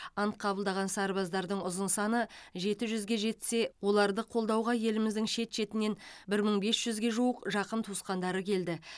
ант қабылдаған сарбаздардың ұзын саны жеті жүзге жетсе оларды қолдауға еліміздің шет шетінен бір мың бес жүзге жуық жақын туысқандары келді